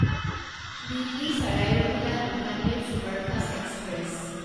Delhi Sarai Rohilla Bikaner superfast express